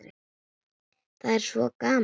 Það er svo gaman.